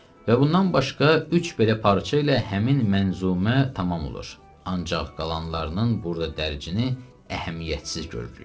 Və bundan başqa üç belə parça ilə həmin mənzumə tamam olur, ancaq qalanlarının burada dərcini əhəmiyyətsiz görürük.